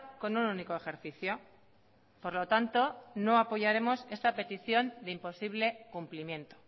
con un único ejercicio por lo tanto no apoyaremos esta petición de imposible cumplimiento